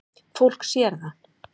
Fólk sér það.